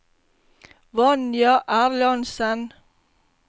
Vanja Erlandsen